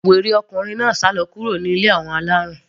Wèrè náà sálọ kúrò ní ilé àwọn alárùn.